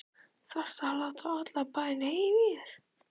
ÞARFTU AÐ LÁTA ALLAN BÆINN HEYRA Í ÞÉR!